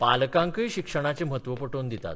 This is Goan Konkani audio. पालकांकय शिक्षणाचें म्हत्व पटोवन दितात.